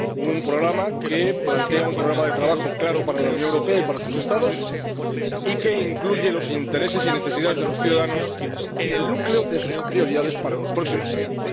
Un programa que plantea un programa de trabajo claro para la Unión Europea y para sus Estados, y que incluye los intereses y las necesidades de los ciudadanos en el núcleo de sus prioridades para los próximos años.